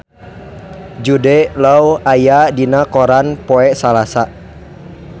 Jude Law aya dina koran poe Salasa